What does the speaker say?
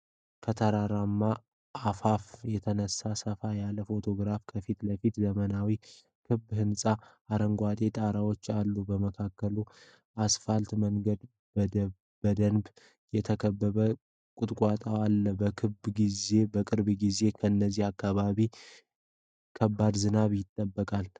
ከተራራ አፋፍ የተነሳው ሰፋ ያለ ፎቶግራፍ ከፊት ለፊት ዘመናዊ ክብ ህንጻዎች አረንጓዴ ጣራዎች አሉ። በመካከላቸው አስፋልት መንገድና በደንብ የተከሉ ቁጥቋጦዎች አሉ። በቅርብ ጊዜ ከዚህ አካባቢ ከባድ ዝናብ ይጠበቃል?